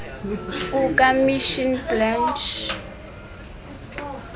kuka misson blanche